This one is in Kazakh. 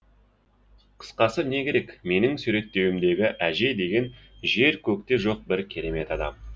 қысқасы не керек менің суреттеуімдегі әже деген жер көкте жоқ бір керемет адам